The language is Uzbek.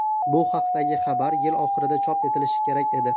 Bu haqidagi xabar yil oxirida chop etilishi kerak edi.